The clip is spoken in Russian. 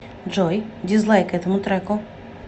джой дизлайк этому треку